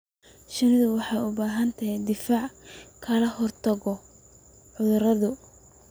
Shinnidu waxay u baahan tahay difaac ka hortagga cudurrada.